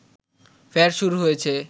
ফের শুরু হয়েছে